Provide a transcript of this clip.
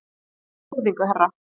Með fullri virðingu, herra.